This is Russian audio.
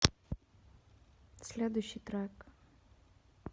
следующий трек